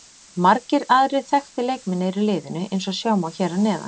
Margir aðrir þekktir leikmenn eru í liðinu eins og sjá má hér að neðan.